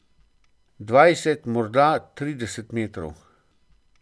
Dvajset, morda trideset metrov.